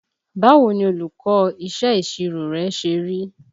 Báwo ni olùkọ́ iṣẹ́ ìṣirò rẹ ṣe rí?